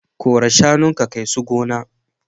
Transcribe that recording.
Kora shanun ka kai su gona.